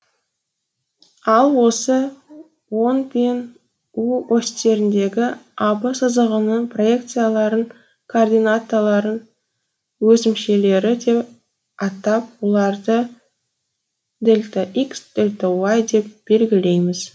ал осы он пен у осьтеріндегі аб сызығының проекцияларын координаталар өсімшелері деп атап оларды дельта икс дельта уай деп белгілейміз